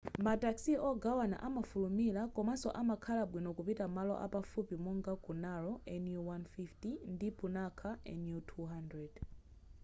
ma taxi ogawana amafulumila komanso amakhala bwino kupita malo apafupi monga ku naro nu150 ndi punakha nu 200